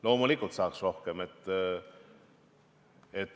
Loomulikult saaks rohkem.